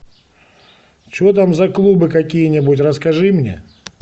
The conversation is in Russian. что там за клубы какие нибудь расскажи мне